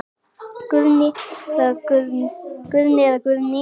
Guðni eða Guðný.